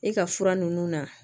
E ka fura ninnu na